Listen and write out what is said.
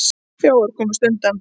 Þjófar komust undan.